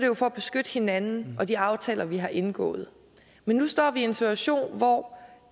jo for at beskytte hinanden og de aftaler vi har indgået men nu står vi en situation hvor